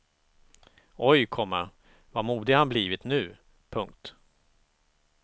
Oj, komma vad modig han blivit nu. punkt